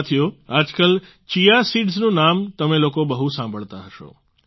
સાથીઓ આજકાલ chia seeds નું નામ તમે લોકો બહુ સાંભળતો હશે